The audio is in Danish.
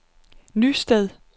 Nysted